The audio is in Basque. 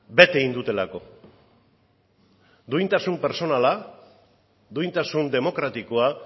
bete egin dutelako duintasun pertsonala duintasun demokratikoa